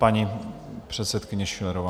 Paní předsedkyně Schillerová.